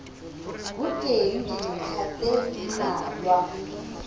ho teng dintlha tse mmalwa